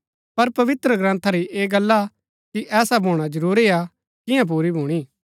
पर पवित्रग्रन्था री ऐह गल्ला कि ऐसा भूणा जरूरी हा कियां पुरी भूणी